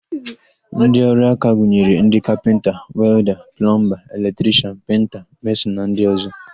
Ndịọrụaka gụnyere ndị: kapịnta, welda, plọmba, eletrishian, penta, mesịn na ndị ọ̀zọ́.